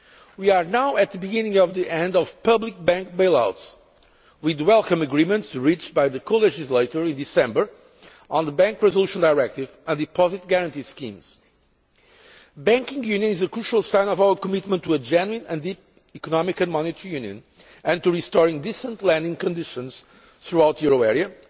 We are now at the beginning of the end of public bank bail outs, with the welcome agreements reached by the co legislators in December on the Bank Resolution Directive and Deposit Guarantee Schemes. Banking Union is a crucial sign of our commitment to a genuine and deep Economic and Monetary Union and to restoring decent lending conditions throughout the euro